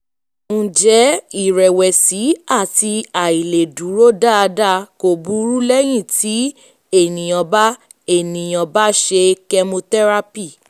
ǹjẹ́ iìrẹ̀wẹ̀sì àti àìlèdúró dáadáa kò burú lẹ́yìn tí ènìyàn bá ènìyàn bá ṣe chemotherapy